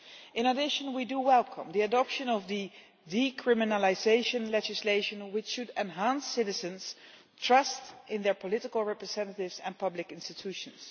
In addition, we welcome the adoption of the decriminalisation legislation which should enhance citizens' trust in their political representatives and public institutions.